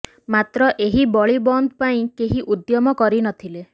ମାତ୍ର ଏହି ବଳି ବନ୍ଦ ପାଇଁ କେହି ଉଦ୍ୟମ କରିନଥିଲେ